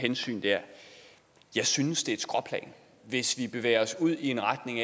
hensyn der jeg synes det er et skråplan hvis vi bevæger os ud i en retning